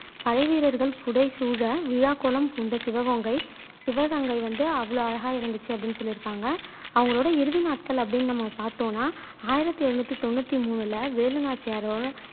படைவீரர்கள் புடை சூழ விழாக்கோலம் பூண்ட சிவகோங்கை சிவகங்கை வந்து அவ்ளோஅ அழகா இருந்துச்சு அப்படின்னு சொல்லி இருக்காங்க அவங்களோட இறுதி நாட்கள் அப்படின்னு நம்ம பாத்தோம்னா ஆயிரத்தி எழுநூத்து தொண்ணூத்தி மூணுல வேலு நாச்சியாரோட